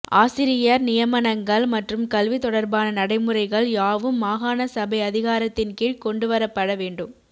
ஆசிரியர் நியமனங்கள் மற்றும் கல்வி தொடர்பான நடைமுறைகள் யாவும் மாகாண சபை அதிகாரத்தின் கீழ் கொண்டு வரப்பட வேண்டும்